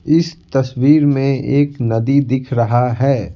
इस तस्वीर में एक नदी दिख रहा है।